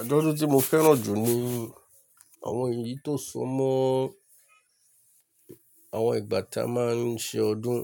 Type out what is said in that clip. Àjọ̀dún tí mo fẹ́ràn jù ni àwọn èyí tó so mọ́ àwọn ìgbà tí a máa ń ṣe ọdún